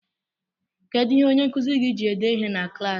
Kedu ihe onyenkuzi gị ji ede ihe na klaasị?